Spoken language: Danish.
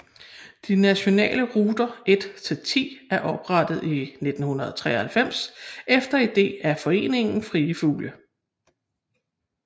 De nationale ruter 1 til 10 er oprettet i 1993 efter ide af Foreningen Frie Fugle